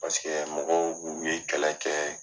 Paseke mɔgɔw u ye kɛlɛ kɛ.